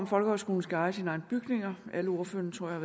folkehøjskolen skal eje sine egne bygninger alle ordførerne tror jeg